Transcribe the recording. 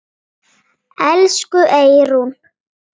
Elsku Eyrún.